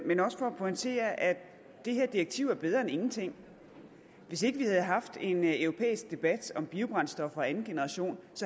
men også for at pointere at det her direktiv er bedre end ingenting hvis ikke vi havde haft en europæisk debat om biobrændstoffer af anden generation